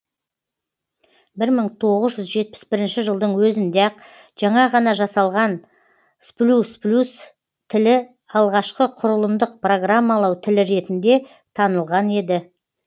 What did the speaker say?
бір мың тоғыз жүз жетпіс бірінші жылдың өзінде ақ жаңа ғана жасалған сплюсплюс тілі алғашқы құрылымдық программалау тілі ретінде танылған еді